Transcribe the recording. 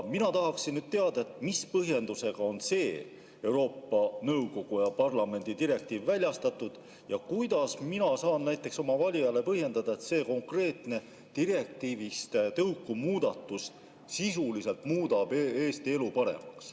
Mina tahaksin teada, mis põhjendusega on see Euroopa Nõukogu ja parlamendi direktiiv väljastatud, ja kuidas näiteks mina saan oma valijale põhjendada, et see konkreetne direktiivist tõukuv muudatus sisuliselt muudab Eesti elu paremaks.